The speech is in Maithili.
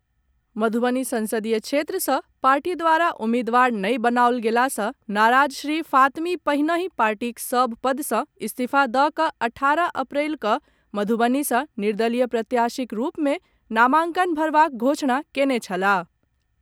मधुबनी संसदीय क्षेत्र सॅ पार्टी द्वारा उम्मीदवार नहि बनाओल गेला सॅ नाराज श्री फातमी पहिनेहि पार्टीक सभ पद सॅ इस्तीफा दऽ कऽ अठारह अप्रैल कऽ मधुवनी सॅ निर्दलीय प्रत्याशीक रूप में नामांकन भरबाक घोषणा केंने छलाह।